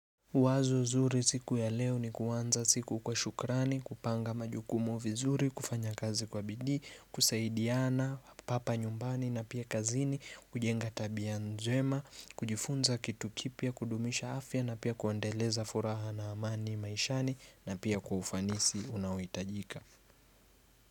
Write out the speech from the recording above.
Wazo zuri siku ya leo ni kuanza siku kwa shukrani, kupanga majukumu vizuri, kufanya kazi kwa bidii, kusaidiana, papa nyumbani na pia kazini, kujenga tabia njema, kujifunza kitu kipya, kudumisha afya na pia kuendeleza furaha na amani maishani na pia kwa ufanisi unaohitajika.